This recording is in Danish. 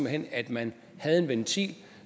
hen at man havde en ventil